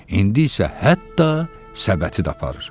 İndi isə hətta səbəti də aparır.